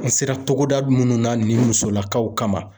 N sera togoda munnu na nin musolakaw kama